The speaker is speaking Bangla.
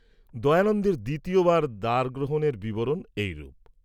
দয়ানন্দের দ্বিতীয় বার দারগ্রহণের বিররণ এইরূপ।